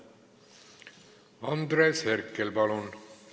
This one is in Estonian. Andres Herkel, palun!